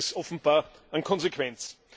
Da fehlt es offenbar an Konsequenz.